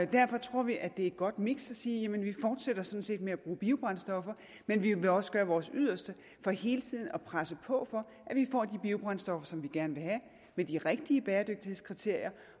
derfor tror vi at det er et godt miks at sige vi fortsætter sådan set med at bruge biobrændstoffer men vi vil også gøre vores yderste for hele tiden at presse på for at vi får de biobrændstoffer som vi gerne vil have med de rigtige bæredygtighedskriterier